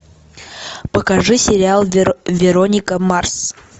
покажи сериал вероника марс